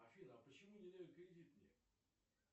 афина а почему не дают кредит мне